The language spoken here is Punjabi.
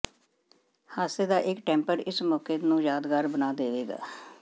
ਹਾਸੇ ਦਾ ਇੱਕ ਟੈਂਪਰ ਇਸ ਮੌਕੇ ਨੂੰ ਯਾਦਗਾਰ ਬਣਾ ਦੇਵੇਗਾ